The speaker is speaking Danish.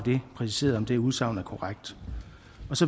præciseret om det udsagn er korrekt